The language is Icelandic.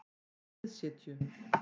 Miðsitju